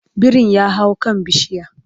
birin ya hau kan bishiya